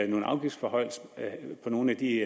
nogle afgiftsforhøjelser på nogle af de